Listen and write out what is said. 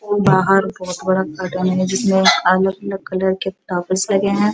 बाहर बहोत बड़ा है जिसमें अलग-अलग कलर के ताबीज लगे हैं।